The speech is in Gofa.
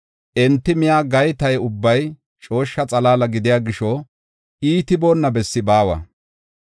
Enti miya gayta ubbay cooshsha xalaala gidiya gisho, iitiboonna bessi baawa.